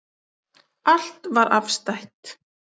Allt var afstætt.